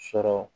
Sɔrɔ